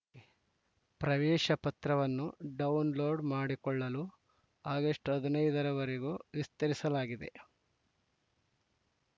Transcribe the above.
ಪ್ರವೇಶ ಪತ್ರವನ್ನು ಡೌನ್‌ಲೋಡ್‌ ಮಾಡಿಕೊಳ್ಳಲು ಆಗಸ್ಟ್ ಹದಿನೈದರ ವರೆಗೂ ವಿಸ್ತರಿಸಲಾಗಿದೆ